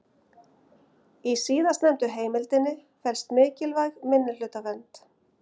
Í síðastnefndu heimildinni felst mikilvæg minnihlutavernd.